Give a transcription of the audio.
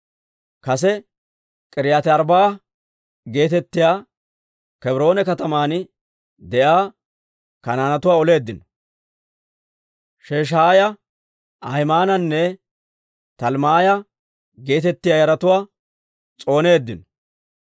Kase K'iriyaati-Arbbaa'a geetettiyaa Kebroone kataman de'iyaa Kanaanetuwaa oleeddino; Sheshaaya, Ahimaananne Talmmaaya geetettiyaa yaratuwaa s'ooneeddino.